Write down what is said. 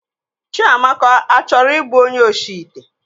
Chịamaka achọrọ ịbụ onye oshi ite?